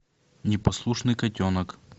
непослушный котенок